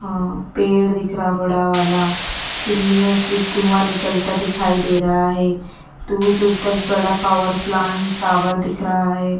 अं पेड़ दिख रहा बड़ा वाला चीनियों से धुआं निकलता दिखाई दे रहा है दूर दूर तक बड़ा पावर प्लांट टावर दिख रहा हैं।